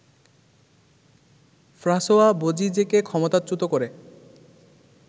François বোজিজেকে ক্ষমতাচ্যুত করে